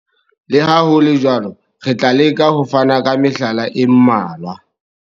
Le ha ho le jwalo, re tla leka ho fana ka mehlala e mmalwa.